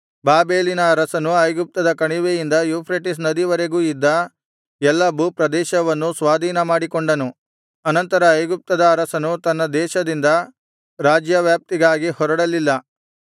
ಬಾಬೆಲಿನ ಅರಸನು ಐಗುಪ್ತದ ಕಣಿವೆಯಿಂದ ಯೂಫ್ರೆಟಿಸ್ ನದಿವರೆಗೂ ಇದ್ದ ಎಲ್ಲಾ ಭೂಪ್ರದೇಶವನ್ನು ಸ್ವಾಧೀನಮಾಡಿಕೊಂಡನು ಅನಂತರ ಐಗುಪ್ತದ ಅರಸನು ತನ್ನ ದೇಶದಿಂದ ರಾಜ್ಯವ್ಯಾಪ್ತಿಗಾಗಿ ಹೊರಡಲಿಲ್ಲ